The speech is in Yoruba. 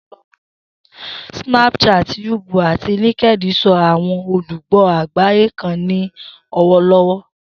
Snapchat, YouTube, ati LinkedIn so awọn olugbo agbaye kan ni lọwọlọwọ.